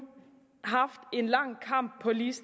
årligt